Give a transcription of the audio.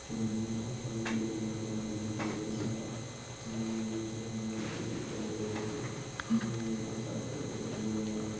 चमन में ऊपर नीले कलर का बादल दिखाई दे रहा चमन में नीचे हमें हरियाली दिखाई दे रही है। इस में बहुत सारे पेड़े दिखाई दे रहे है।